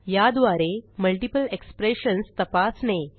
या द्वारे multiple expressions तपासणे